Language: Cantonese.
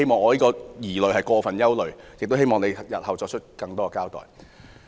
或許我是過分憂慮，故希望局長日後能多作交代。